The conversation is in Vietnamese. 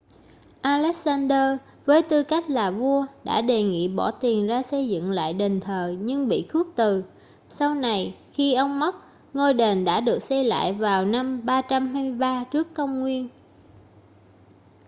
alexander với tư cách là vua đã đề nghị bỏ tiền ra xây dựng lại đền thờ nhưng bị khước từ sau này khi ông mất ngôi đền đã được xây lại vào năm 323 trước công nguyên